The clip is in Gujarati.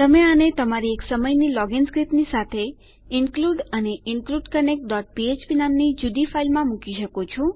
તમે આને તમારી એક સમયની લોગીન સ્ક્રીપ્ટની સાથે ઇન્ક્લુડ અને ઇન્ક્લુડ કનેક્ટ php નામની જુદી ફાઈલમાં મૂકી શકો છો